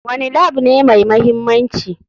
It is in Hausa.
Wane Lab ne mai mahimmanci?